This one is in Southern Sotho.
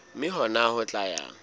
mme hona ho tla ya